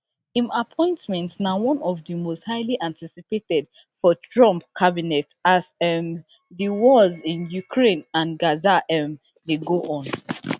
im appointment na one of di most highly anticipated for trump cabinet as um di wars in ukraine and gaza um dey go on